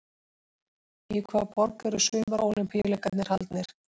Í hvaða borg voru Sumar-Ólympíuleikarnir haldnir?